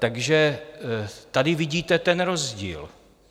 Takže tady vidíte ten rozdíl.